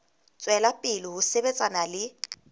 tswela pele ho sebetsana le